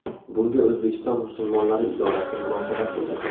Bunga O‘zbekiston musulmonlari idorasi munosabat bildirdi .